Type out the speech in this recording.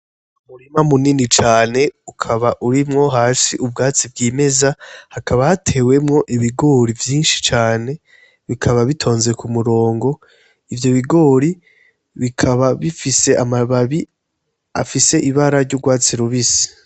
Umurima mu nini cane ukaba urimwo hasi ubwatsi bwimeza hakaba hatewemwo ibigori vyishi cane bikaba bitonze ku murongo ivyo bigori, bikaba bifise amababi afise ibara ry'urwatsi rubisi.